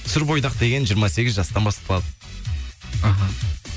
сүр бойдақ деген жиырма сегіз жастан басталады іхі